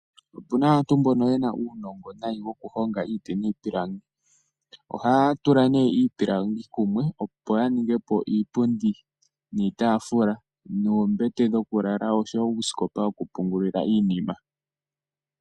Otuna aantu mbono nayi wokugonga iiti niipilangi . Ohaya tula iipilangi kumwe opo yaningepo Iipundi niitaafula noombete dhokulala oshowoo uusikopa wokupungulila iinima .